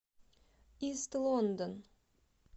ист лондон